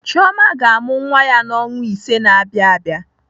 Chioma ga-amụ nwa ya n'ọnwa ise na-abịa abịa.